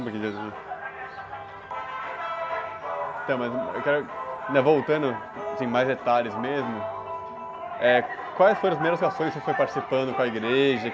(música alta)ntão, mas, eu quero... Né? Voltando, assim, mais detalhes mesmo, eh, quais foram as primeiras ações que você foi participando com a igreja?